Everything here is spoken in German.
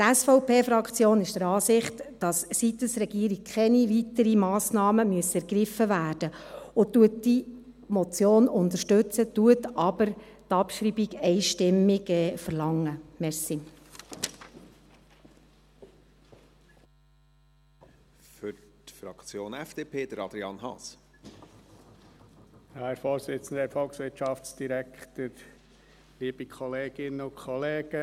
Die SVP-Fraktion ist der Ansicht, dass seitens der Regierung keine weiteren Massnahmen ergriffen werden müssen, und unterstützt die Motion, verlangt aber einstimmig die Abschreibung.